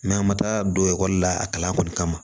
an ma taa don ekɔli la a kalan kɔni kama